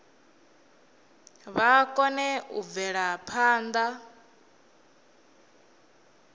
vha kone u bvela phanḓa